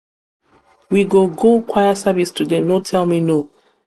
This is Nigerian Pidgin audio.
we go go choir service today no tell me no.